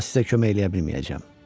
Amma sizə kömək eləyə bilməyəcəyəm.